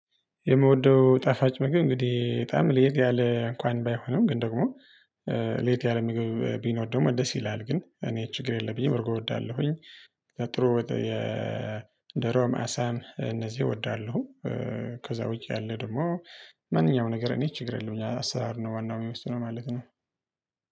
የምወደው ጣፋጭ ምግብ እንግዲህ በጣም ለየት ያለ እንኳን ባይሆንም ግን ደግሞ ለየት ያለ ምግብ ቢኖር ደግሞ ደስ ይላል ግን እኔ ችግር የለብኝም እርጎ እወዳለሁኝ። ጥሩ። ዶሮም አሳም እነዚህ እወዳለሁ። ከዛ ውጪ ያለ ደግሞ ማንኛውም ነገር እኔ ችግር የለም። ያው አሰራር ነው ዋናው የሚወስነው ነው ማለት ነው